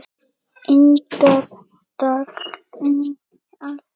Inga Dagný Eydal.